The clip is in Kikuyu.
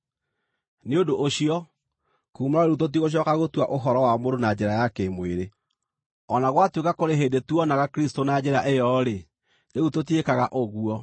Nĩ ũndũ ũcio, kuuma rĩu tũtigũcooka gũtua ũhoro wa mũndũ na njĩra ya kĩ-mwĩrĩ. O na gwatuĩka kũrĩ hĩndĩ tuonaga Kristũ na njĩra ĩyo-rĩ, rĩu tũtiĩkaga ũguo.